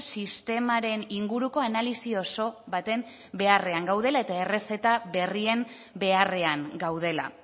sistemaren inguruko analisi oso baten beharrean gaudela eta errezeta berrien beharrean gaudela